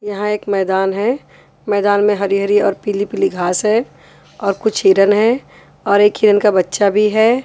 यहां एक मैदान है मैदान में हरी हरी और पीली पीली घास है और कुछ हिरन हैं और एक हिरन का बच्चा भी है।